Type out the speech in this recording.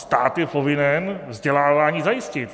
Stát je povinen vzdělávání zajistit.